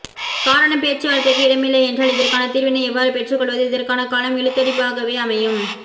காரணம் பேச்சுவார்த்தைக்கு இடமில்லை என்றால் இதற்கான தீர்வினை எவ்வாறு பெற்றுக் கொள்வது இதற்கான காலம் இளுத்தடிப்பாகவே அமையும்